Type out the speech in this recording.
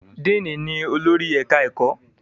díìnì ni olórí ẹ̀ka-ẹ̀kọ́